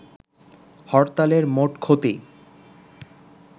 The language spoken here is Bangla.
হরতালের মোট ক্ষতি